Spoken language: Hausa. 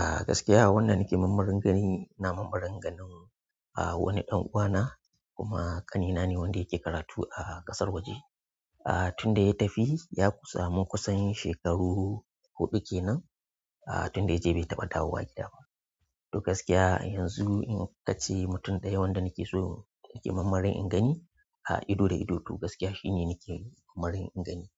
A gaskiya wada nake marmarin gani ina marmarin ganin wani ɗan uwana kuma ƙani na ne wanda yake karatu a ƙasar waje. A tun da ya tafi ya ku samu kusan shekaru huɗu kenan, a tun da ya je bai taɓa dawowa gida ba. To gaskiya yanzu in aka ce mutum ɗaya wanda nake so yake marmarin in gani a ido da ido to gaskiya shi ne nake marmarin in gani.